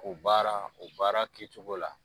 O baara o baara ki cogo la.